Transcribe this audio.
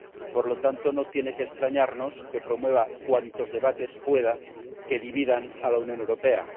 Por lo tanto, no tiene que extrañarnos que promueva cuantos debates pueda que dividan a la Unión Europea.